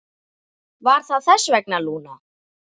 Var það þess vegna, Lúna?